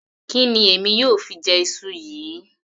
Kí ni èmi yóò fi jẹ iṣu yìí